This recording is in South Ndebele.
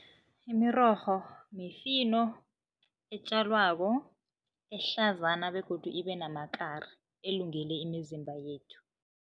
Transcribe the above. Imirorho mifino etjalwako, ehlazana begodu ibe namakari, elungele imizimba yethu.